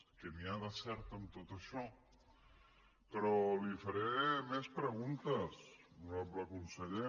què hi ha de cert en tot això però li faré més preguntes honorable conseller